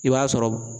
I b'a sɔrɔ